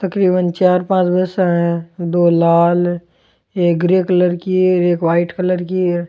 तकरीबन चार पांच बस है दो लाल एक ग्रे कलर की है एक व्हाइट कलर की है।